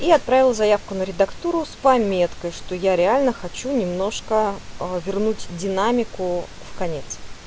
и отправил заявку на редактирование с пометкой что я реально хочу немножко а вернуть динамику в конец